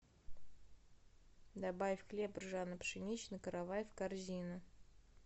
добавь хлеб ржано пшеничный каравай в корзину